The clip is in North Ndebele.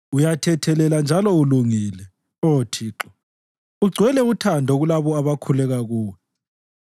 Uyathethelela njalo ulungile, Oh Thixo, ugcwele uthando kulabo abakhuleka kuwe.